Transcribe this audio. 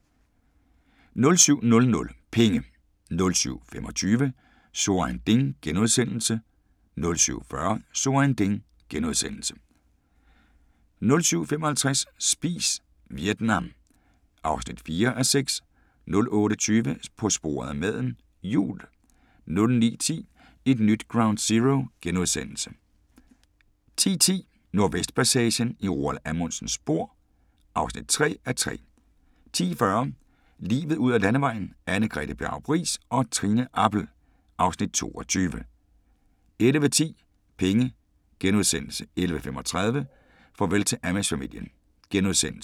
07:00: Penge 07:25: So ein Ding * 07:40: So ein Ding * 07:55: Spis Vietnam (4:6) 08:20: På sporet af maden - jul 09:10: Et nyt Ground Zero * 10:10: Nordvestpassagen – i Roald Amundsens spor (3:3) 10:40: Livet ud ad landevejen: Anne-Grethe Bjarup Riis og Trine Appel (Afs. 22) 11:10: Penge * 11:35: Farvel til Amish-familien *